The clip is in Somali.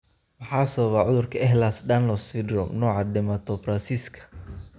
Maxaa sababa cudurka Ehlers Danlos syndrome, nooca dermatosparaxiska?